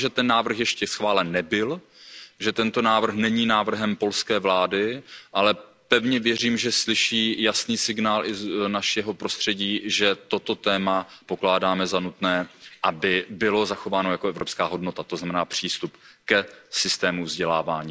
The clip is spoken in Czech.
Já vím, že ten návrh ještě schválen nebyl, že tento návrh není návrhem polské vlády, ale pevně věřím, že slyší jasný signál i z našeho prostředí, že toto téma pokládáme za nutné, aby bylo zachováno jako evropská hodnota, to znamená přístup k plnohodnotnému systému vzdělávání.